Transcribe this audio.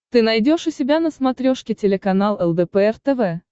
ты найдешь у себя на смотрешке телеканал лдпр тв